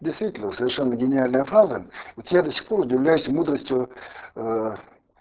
действительно совершенно гениальная фраза вот я до сих пор удивляюсь мудрости